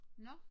Nå